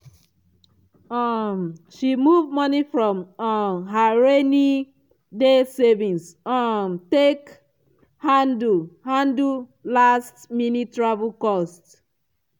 i work um extra hours small time to recover from um sudden money shortfall.